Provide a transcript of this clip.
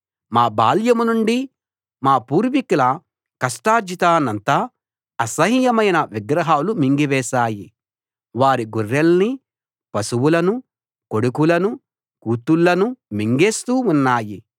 మా బాల్యంనుండి మా పూర్వీకుల కష్టార్జితాన్నంతా అసహ్యమైన విగ్రహాలు మింగివేశాయి వారి గొర్రెల్నీ పశువులను కొడుకులను కూతుళ్ళను మింగేస్తూ ఉన్నాయి